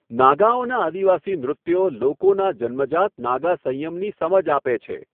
નાગાઓનાં આદિવાસી નૃત્યો લોકોનાં જન્મજાત નાગા સંયમની સમજ આપે છે.